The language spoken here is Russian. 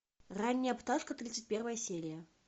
ранняя пташка тридцать первая серия